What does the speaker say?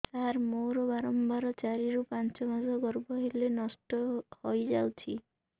ସାର ମୋର ବାରମ୍ବାର ଚାରି ରୁ ପାଞ୍ଚ ମାସ ଗର୍ଭ ହେଲେ ନଷ୍ଟ ହଇଯାଉଛି